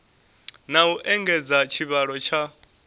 na u engedza tshivhalo tsha